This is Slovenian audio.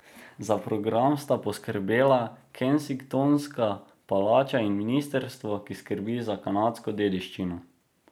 Za program sta poskrbela Kensingtonska palača in ministrstvo, ki skrbi za kanadsko dediščino.